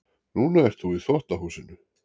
Núna ert þú í þvottahúsinu.